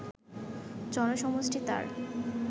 জনসমষ্টি তার